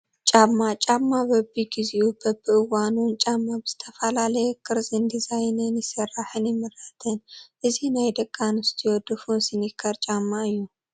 ጫማ፡- ጫማ በቢ ጊዜኡን በቢ እዋኑን ጫማ ብዝተፈላለየ ቅርፅን ዲዛይንን ይስራሕን ይምረትን፡፡ እዚ ናይ ደቂ ኣንስትዮ ድፉን ሲኒከር ጫማ እዩ፡፡